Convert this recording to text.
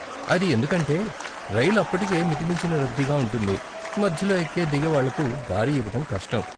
అది ఎందుకంటే, రైలు అప్పటికే మితిమించిన రద్దీగా ఉంటుంది, మధ్యలో ఎక్కే, దిగేవాళ్ళకు దారి ఇవ్వటం కష్టం.